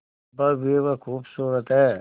भव्य व खूबसूरत है